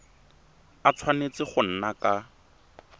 a tshwanetse go nna ka